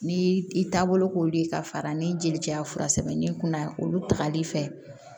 Ni i taabolo k'olu ka fara ni jeli caya fura sɛbɛn ni kunna olu tali fɛ